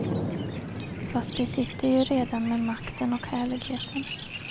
Fast de sitter ju redan med makten och härligheten.